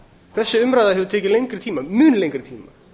þessi umræða hefur tekið lengri tíma mun lengri tíma